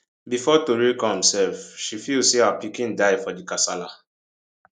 bifor tori come sef she feel say her pikin die for di kasala